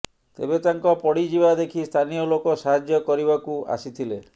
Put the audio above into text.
ତେବେ ତାଙ୍କ ପଡ଼ିଯିବା ଦେଖି ସ୍ଥାନୀୟ ଲୋକ ସାହାଯ୍ୟ କରିବାକୁ ଆସିଥିଲେ